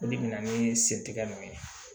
Olu bɛna ni sen tigɛli min ye